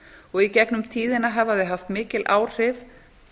og í gegnum tíðina hafa þau haft mikil áhrif